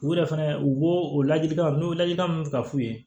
U yɛrɛ fɛnɛ u b'o o ladilikanw n'o ladilikan min bɛ ka f'u ye